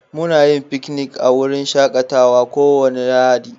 Muna yin fiknik a wurin shakatawa kowace Lahadi.